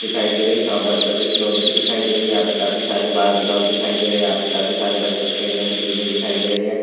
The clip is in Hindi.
दिखाई दे रही है शॉप बच्चों के खिलोनों कि दिखाई दे रही है यहाँ पे काफी सारे बार्बी डॉल दिखाई दे रहे हैं यहाँ पे काफी सारे बच्चों के खेलने कि चीजें दिखाई दे रही हैं।